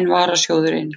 en varasjóðurinn.